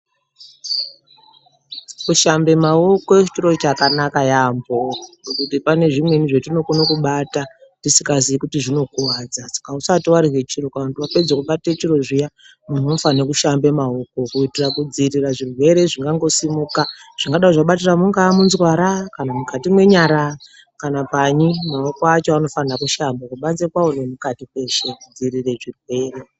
Kushambe maoko chiro chakanaka yaamho ngekuti pane zvimweni zvatinokona kubata tisikaziyi kuti zvinokuvadza. Saka usati varye chiro kana kuti vapedze kubata chiro zviya muntu unofane kushamba maoko kuti kudzirira zvirwere zvingangosimuka. Zvingadai zvabatira mungaa munzwara kana mukati menyara kana panyi maoko acho anofanirwe kushambwa kubanze kwavo nemukati kweshe kudzirire zvirwere.